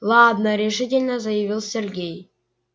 ладно решительно заявил сергей